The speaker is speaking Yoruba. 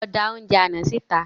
Lọ da oúnjẹ àná sí ìta